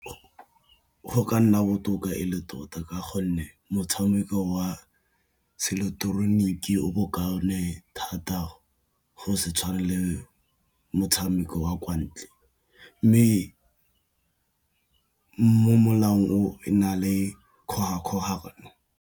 Go ka nna botoka e le tota ka gonne motshameko wa se ileketoroniki o bo kaone thata, go se tshwane le motshameko wa kwa ntle. Mme mo molaong o na le kgogakgogano.